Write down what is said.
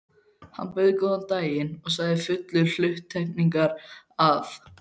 Hann bauð góðan daginn og sagði fullur hluttekningar, að